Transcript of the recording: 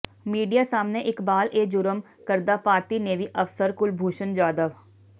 media ਸਾਹਮਣੇ ਇਕਬਾਲ ਏ ਜੁਰਮ ਕਰਦਾ ਭਾਰਤੀ ਨੇਵੀ ਅਫਸਰ ਕੁਲਭੂਸ਼ਣ ਜਾਧਵ